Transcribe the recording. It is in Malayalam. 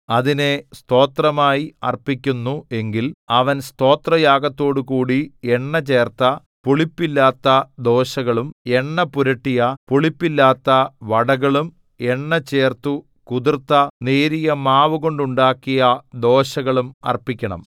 അതിനെ സ്തോത്രമായി അർപ്പിക്കുന്നു എങ്കിൽ അവൻ സ്തോത്രയാഗത്തോടുകൂടി എണ്ണചേർത്ത പുളിപ്പില്ലാത്ത ദോശകളും എണ്ണപുരട്ടിയ പുളിപ്പില്ലാത്ത വടകളും എണ്ണ ചേർത്തു കുതിർത്ത നേരിയ മാവു കൊണ്ടുണ്ടാക്കിയ ദോശകളും അർപ്പിക്കണം